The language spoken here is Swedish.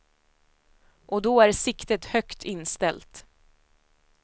Och då är siktet högt inställt.